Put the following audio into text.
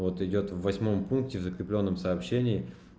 вот идёт в восьмом пункте в закреплённом сообщении